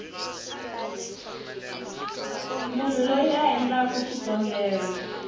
munhu loyi a endlaku xikombelo